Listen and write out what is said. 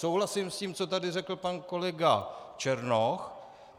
Souhlasím s tím, co tady řekl pan kolega Černoch.